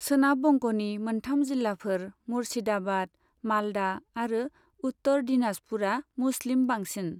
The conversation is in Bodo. सोनाब बंग'नि मोनथाम जिल्लाफोर मुर्शिदाबाद, मालदा आरो उत्तर दिनाजपुरा मुस्लिम बांसिन।